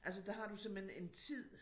Altså der har du simpelthen en tid